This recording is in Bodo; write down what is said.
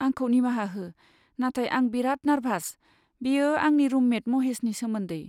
आंखौ निमाहा हो, नाथाय आं बेराद नार्भास, बेयो आंनि रुममेट महेसनि सोमोन्दै।